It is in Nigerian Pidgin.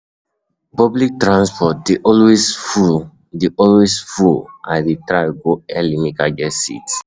Public transport dey always full, dey always full, I dey try go early, make I get seat.